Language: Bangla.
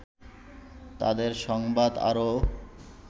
তাদের সংবাদ আরো